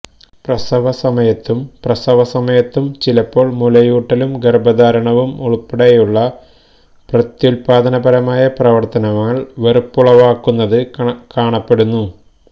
പ്രസവസമയത്തും പ്രസവസമയത്തും ചിലപ്പോൾ മുലയൂട്ടലും ഗർഭധാരണവും ഉൾപ്പെടെയുള്ള പ്രത്യുത്പാദനപരമായ പ്രവർത്തനങ്ങൾ വെറുപ്പുളവാക്കുന്നത് കാണപ്പെടുന്നു